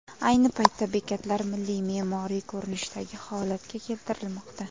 Ayni paytda bekatlar milliy me’moriy ko‘rinishdagi holatga keltirilmoqda.